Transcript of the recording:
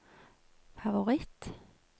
favoritt